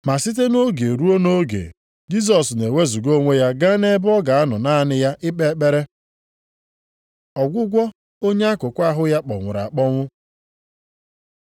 Ma site nʼoge ruo nʼoge, Jisọs na-ewezuga onwe ya gaa nʼebe ọ ga-anọ naanị ya ikpe ekpere. Ọgwụgwọ onye akụkụ ahụ ya kpọnwụrụ akpọnwụ